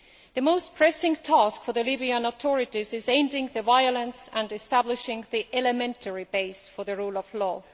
The most pressing task for the new Libyan authorities is ending the violence and establishing the elementary basis for the rule of law.